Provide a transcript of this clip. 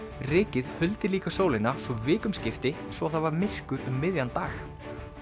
rykið huldi líka sólina svo vikum skipti svo það var myrkur um miðjan dag